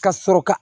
Ka sɔrɔ ka